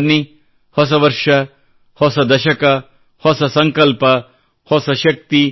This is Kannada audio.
ಬನ್ನಿ ಹೊಸ ವರ್ಷ ಹೊಸ ದಶಕ ಹೊಸ ಸಂಕಲ್ಪ ಹೊಸ ಶಕ್ತಿ